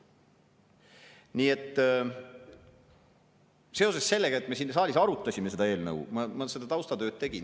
Nii et seoses sellega, et me siin saalis arutame seda eelnõu, ma seda taustatööd tegin.